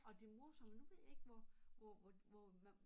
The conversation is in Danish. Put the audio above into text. Og det morsomme nu ved jeg ikke hvor hvor hvor man